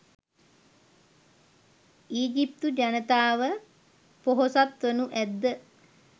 ඊජිප්තු ජනතාව ‍පොහොසත් වනු ඇද්ද?